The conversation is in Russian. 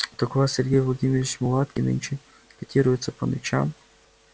так у вас сергей владимирович мулатки нынче котируются по ночам